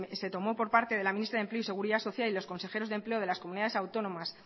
se tomó por parte del ministerio de empleo y seguridad social y los consejeros de empleo de las comunidades autónomas